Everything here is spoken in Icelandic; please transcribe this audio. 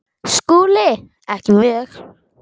SKÚLI: Ekki mjög.